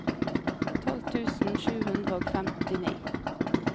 tolv tusen sju hundre og femtini